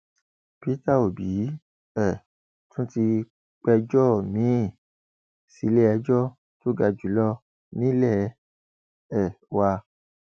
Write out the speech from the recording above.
peter òbí um tún ti pẹjọ miín síléẹjọ tó ga jù lọ nílé um wa